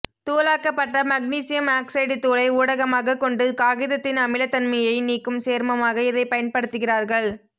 தூளாக்கப்பட்ட magnesium oxide தூளை ஊடகமாகக் கொண்டு காகிதத்தின் அமிலத்தன்மையை நீக்கும் சேர்மமாக இதைப் பயன்படுத்துகிறார்கள்